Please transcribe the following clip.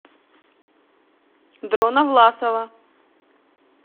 дрона власова